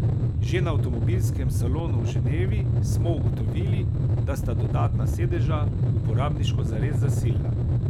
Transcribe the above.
Že na avtomobilskem salonu v Ženevi smo ugotovili, da sta dodatna sedeža uporabniško zares zasilna.